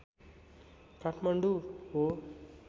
काठमाडौँ हो